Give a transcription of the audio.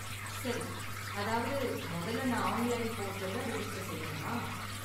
சரி! அதாவது முதல்ல, நான் ஆன்லைன் போர்ட்டல்ல ரெஜிஸ்டர் செய்யனுமா?